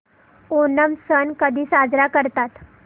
ओणम सण कधी साजरा करतात